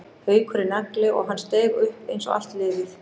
Haukur er nagli og hann steig upp eins og allt liðið.